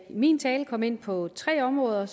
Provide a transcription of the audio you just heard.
min tale komme ind på tre områder